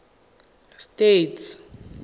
states